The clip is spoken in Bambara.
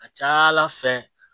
A ca ala fɛ